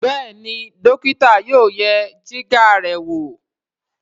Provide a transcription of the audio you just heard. Béèni dókítà yóò yẹ Jìgá rẹ wọ.